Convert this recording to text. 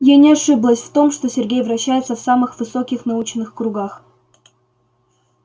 я не ошиблась в том что сергей вращается в самых высоких научных кругах